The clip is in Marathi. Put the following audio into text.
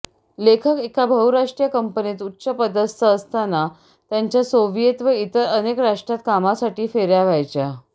लेखक एका बहुराष्ट्रीय कंपनीत उच्चपदस्थ असताना त्यांच्या सोविएत व इतर अनेक राष्ट्रांत कामासाठी फेर्या व्हायच्या